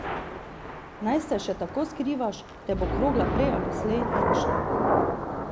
Naj se še tako skrivaš, te bo krogla prej ali slej našla.